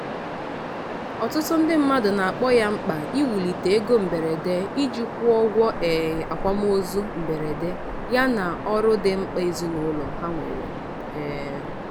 ọtụtụ ndị mmadụ na-akpọ ya mkpa iwulite ego mberede iji kwụọ ụgwọ um akwamozu mberede yana ọrụ dị mkpa ezinụlọ ha nwere um